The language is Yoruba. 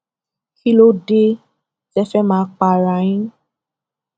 kí ló dé tẹ ẹ fẹẹ máa pa ara yín